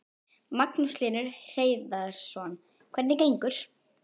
Magnús Hlynur Hreiðarsson: Hvernig gengur?